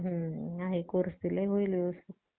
आहे Course दिलाय होईल व्यवस्थित